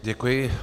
Děkuji.